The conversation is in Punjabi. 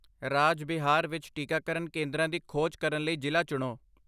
ਰਾਜ ਬਿਹਾਰ ਵਿੱਚ ਟੀਕਾਕਰਨ ਕੇਂਦਰਾਂ ਦੀ ਖੋਜ ਕਰਨ ਲਈ ਜ਼ਿਲ੍ਹਾ ਚੁਣੋ